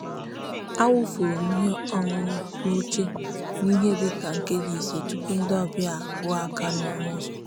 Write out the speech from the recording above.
a wụfuru m ihe ọṅụṅụ n'oche n'ihe dịka nkeji ise tụpụ ndị ọbịa akụọ aka n'ọnụ ụzọ.